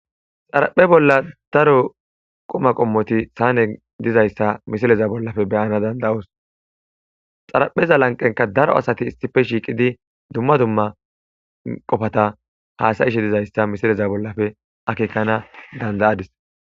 xaraphe bolla daro qoma qommoti saane dizayssa misileza bollafe beyana danda7us xarapheza lanqenka daro asati issife shiiqidi dumma dumma qofata haasayishe dizayssa misileza bollafe akeekana dandayadis